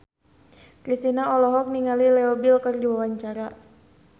Kristina olohok ningali Leo Bill keur diwawancara